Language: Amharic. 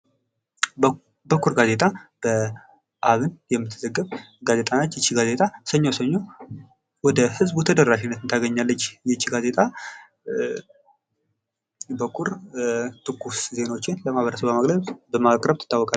በኩራር ጋዜጣ በአብን የምትዘገብ ጋዜጣ ነች ይቺ ጋዜጣ ሰኞ ሰኞ ወደህዝቡ ተደራሽነት ታገኛለች:: ይቺ ጋዜጣ በኩራር ትኩስ ዜናዎችን ለማህበረሰቡ በማቅረብ ትታወቃለች::